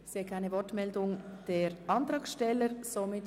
Ich sehe nicht, dass sich die Antragsteller nochmals zu Wort melden wollen.